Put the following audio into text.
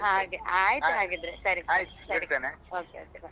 ಹಾಗೆ ಆಯ್ತು ಹಾಗಿದ್ರೆ ಸರಿ okay bye bye .